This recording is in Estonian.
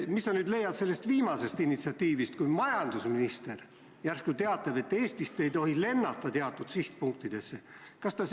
Mis sa arvad sellest viimasest initsiatiivist, kui majandusminister järsku teatas, et Eestist ei tohi lennata teatud sihtpunktidesse?